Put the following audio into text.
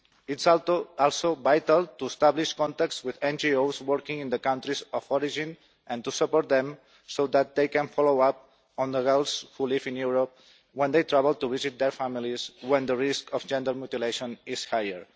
It is also vital to establish contacts with NGOs working in the countries of origin and to support them so that they can follow up on the girls who live in Europe when they travel to visit their families, when the risk of genital mutilation is higher.